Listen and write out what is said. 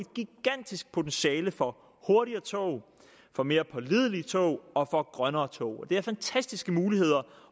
gigantisk potentiale for hurtigere tog for mere pålidelige tog og for grønnere tog og det er fantastiske muligheder